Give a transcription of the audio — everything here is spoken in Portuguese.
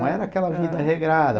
Não era aquela vida regrada.